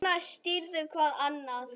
Svona styður hvað annað.